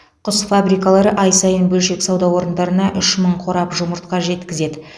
құс фабрикалары ай сайын бөлшек сауда орындарына үш мың қорап жұмыртқа жеткізеді